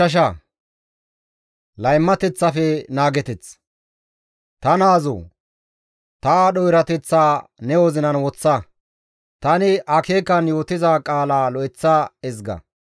Ta naazoo! Ta aadho erateththaa ne wozinan woththa; tani akeekan yootiza qaala lo7eththa ezga.